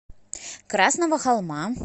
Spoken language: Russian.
красного холма